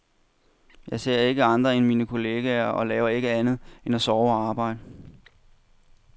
Jeg ser ikke andre end mine kollegaer og laver ikke andet end at sove og arbejde.